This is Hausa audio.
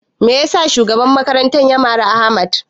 Me yasa shugaban makarantar ya mari Ahmad?